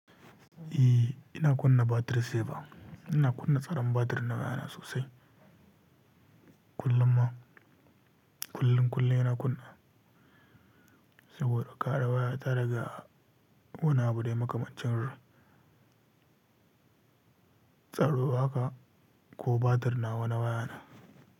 Eh ina kunna battery saver. Ina kunna tsaron battery na waya na sosai. Kullum ma, kullum, kullum ina kunna, saboda kare wayata daga wani abu dai makamancin r-tsaro haka ko battery nawa na waya na.